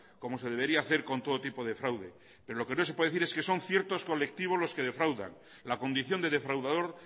como se debería hacer con todo tipo de fraude pero lo que no se puede decir es que son ciertos colectivos los que defraudan la condición de defraudador